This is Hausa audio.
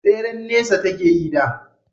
tseren nesa take yi da